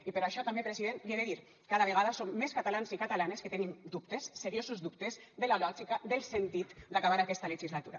i per això també president l’hi he de dir cada vegada som més catalans i catalanes que tenim dubtes seriosos dubtes de la lògica del sentit d’acabar aquesta legislatura